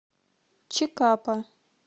чикапа